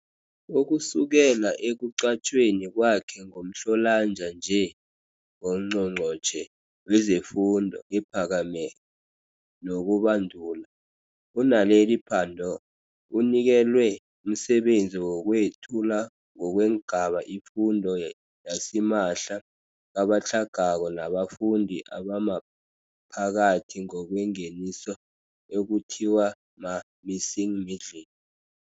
Ukusukela ekuqatjhweni kwakhe ngoMhlolanja nje ngoNgqongqotjhe wezeFundo ePhakemeko nokuBandula, u-Naledi Pandor unikelwe umsebenzi wokwethula ngokweengaba ifundo yasimahla kabatlhagako nabafundi, abamaphakathi ngokwengeniso ekuthiwa ma-missing middle.